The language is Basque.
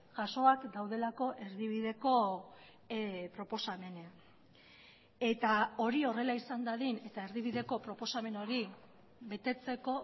jasoak daudelako erdibideko proposamenean eta hori horrela izan dadin eta erdibideko proposamen hori betetzeko